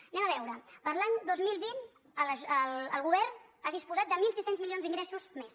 anem ho a veure per a l’any dos mil vint el govern ha disposat de mil sis cents milions d’ingressos més